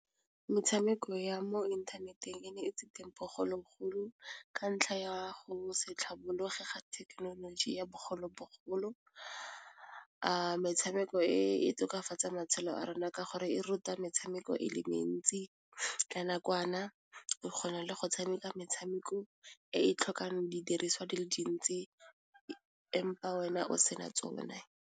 Metshameko ya mo inthaneteng e ne e se teng bogologolo ka ntlha ya go se tlhabologe ga thekenoloji ya bogolo-bogolo metshameko e e tokafatsa matshelo a rona ka gore e ruta metshameko e le mentsi ka nakwana o kgona le go tshameka metshameko e e tlhokang didiriswa di le dintsi empa wena o se na tsone.